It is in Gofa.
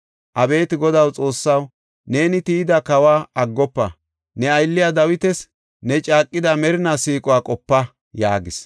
Abeeti Godaw, Xoossaw, neeni tiyida kawa aggofa; Ne aylliya Dawitas ne caaqida merinaa siiquwa qopa” yaagis.